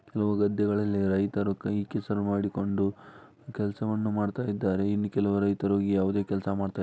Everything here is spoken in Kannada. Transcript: ಕೆಲವು ಗದ್ದೆಗಳಲ್ಲಿ ರೈತರು ಕೈ ಕೆಸರು ಮಾಡಿಕೊಂಡು ಕೆಲಸವನ್ನು ಮಾಡ್ತಾ ಇದ್ದಾರೆ ಇನ್ ಕೆಲವರು ರೈತರು ಯಾವುದೇ ಕೆಲಸ ಮಾಡ್ತಾ--